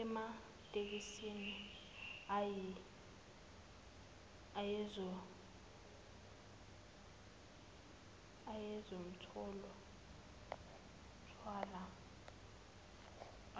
ematekisini ayezomthwala